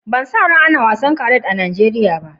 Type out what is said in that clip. Ban sa rai ana bugan wasan kriket a Nijeriya ba.